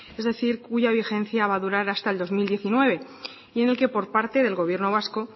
es decir cuya vigencia va a durar hasta el dos mil diecinueve y en el que por parte del gobierno vasco